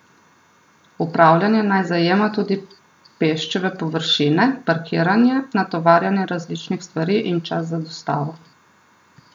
Upravljanje naj zajema tudi peščeve površine, parkiranje, natovarjanje različnih stvari in čas za dostavo.